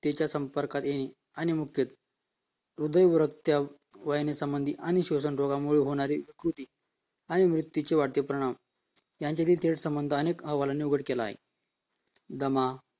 ताच्या संपर्कात येईल ह्र्दयरोग वयाने संबंधित आणि श्वसन रोगामुळे होणारी त्रुटी आणि मृत्यूचे वाढते परिणाम यांच्यातील दृढ संबन्ध अनेक अहवालनी उघड केला आहे दमा